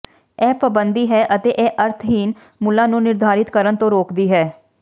ਇਹ ਪਾਬੰਦੀ ਹੈ ਅਤੇ ਇਹ ਅਰਥਹੀਣ ਮੁੱਲਾਂ ਨੂੰ ਨਿਰਧਾਰਤ ਕਰਨ ਤੋਂ ਰੋਕਦੀ ਹੈ